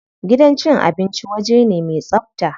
Gidan cin abinci waje ne me tsabta.